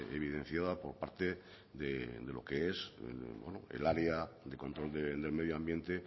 evidenciada por parte de lo que es el área de control del medio ambiente